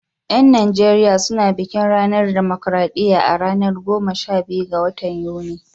Yan Najeriya su na bikin ranar dimokradiyya a ranar goma sha biyu ga watan Yuni.